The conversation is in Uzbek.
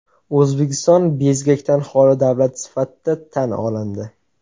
O‘zbekiston bezgakdan holi davlat sifatida tan olindi.